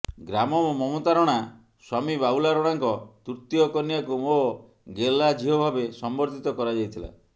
ଗ୍ରାମର ମମତା ରଣା ସ୍ୱାମୀ ବାବୁଲା ରଣାଙ୍କ ତୃତୀୟ କନ୍ୟାକୁ ମୋ ଗେଲ୍ହା ଝିଅ ଭାବେ ସମ୍ବର୍ଦ୍ଧିତ କରାଯାଇଥିଲା